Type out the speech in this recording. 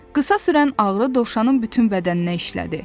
Qısa sürən ağrı dovşanın bütün bədəninə işlədi.